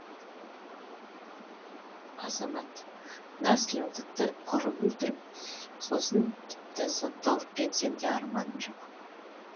азамат мына сілімтікті ұрып өлтіріп сосын тіпті сотталып кетсем де арманым жоқ